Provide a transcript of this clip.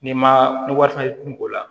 N'i ma ni wari fana tun b'o la